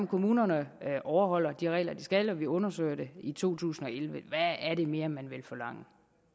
kommunerne overholder de regler de skal og vi undersøger det i to tusind og elleve hvad er det mere man vil forlange